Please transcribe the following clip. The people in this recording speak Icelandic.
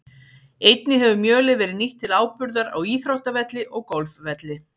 Einnig hefur mjölið verið nýtt til áburðar á íþróttavelli og golfvelli.